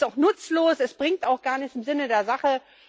Es ist doch nutzlos, es bringt auch gar nichts im Sinne der Sache.